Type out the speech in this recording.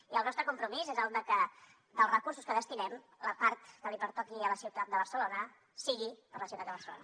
i el nostre compromís és que dels recursos que destinem la part que li pertoqui a la ciutat de barcelona sigui per a la ciutat de barcelona